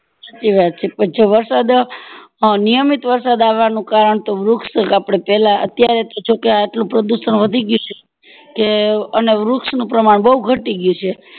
સાચી વાત છે જો વરસાદ અ નિયમિત વરસાદ આવાનું કારણ તો વૃક્ષ આપડે પેલા અત્યારે જો કે આટલું પ્રદુષણ વધી ગયું છે કે અને વૃક્ષ ની પ્રમાણ બૌ ઘટી ગયું છે